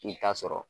I ta sɔrɔ